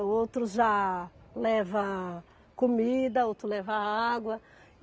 O outro já leva comida, o outro leva água.